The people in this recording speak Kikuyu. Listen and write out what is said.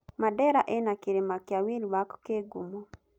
Mandera ĩna kĩrĩma kĩa Wlwak kĩ ngumo.